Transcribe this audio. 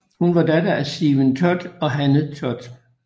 Hun var datter til af Stephen Todd og Hanne Todd